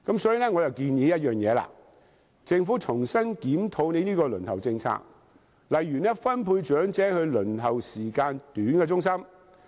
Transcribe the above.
所以，我作出一項建議，就是政府重新檢討這個輪候政策，例如分配長者到輪候時間短的中心。